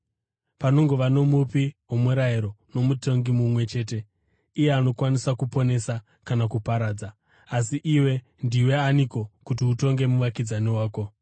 Panongova noMupi woMurayiro noMutongi mumwe chete, iye anokwanisa kuponesa kana kuparadza. Asi iwe, ndiwe aniko kuti utonge muvakidzani wako?